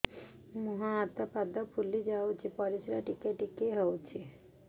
ମୁହଁ ହାତ ପାଦ ଫୁଲି ଯାଉଛି ପରିସ୍ରା ଟିକେ ଟିକେ ହଉଛି